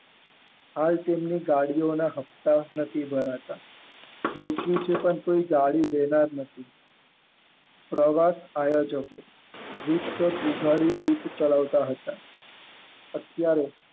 હાલ તેમનુ કાર્યોના હપ્તા નથી ભર્યા પ્રવત આયોજકો ઉપાડી ચટાવતા હતા અત્યારે